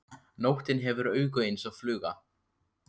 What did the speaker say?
Nóttin hefur augu eins og fluga.